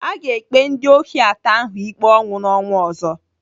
Aga ekpe ndị ohi atọ ahụ ikpe ọnwụ n'ọnwa ọzọ.